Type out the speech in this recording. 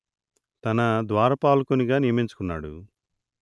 తన ద్వారపాలకునిగా నియమించుకున్నాడు